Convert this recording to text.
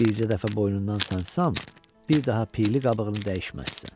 Bircə dəfə boynundan sancsam, bir daha piyli qabığını dəyişməzsən.